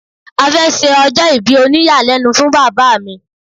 A fẹ́ ṣe ọjọ́ ìbí òníyàlẹ́nu fún bàbá mi